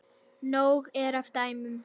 Nóg er af dæmum.